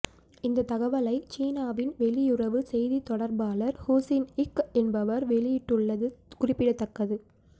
இந்த தகவலை சீனாவின் வெளியுறவு செய்தி தொடர்பாளர் ஹூ சின் இங் என்பவர் வெளியிட்டுள்ளது குறிப்பிடத்தக்கது